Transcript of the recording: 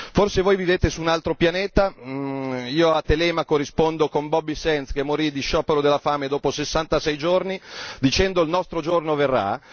Forse voi vivete su un altro pianeta io a Telemaco rispondo con Bobby Sands che morì di sciopero della fame dopo 66 giorni dicendo il nostro giorno verrà.